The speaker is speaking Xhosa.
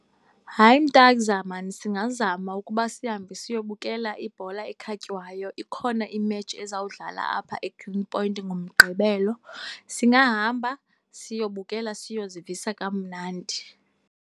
Hayi mtagza maan, singazama ukuba sihambe siyobukela ibhola ekhatywayo. Ikhona imetshi ezawudlala apha eGreenpoint ngoMgqibelo. Singahamba siyobukela, siyozivisa kamnandi.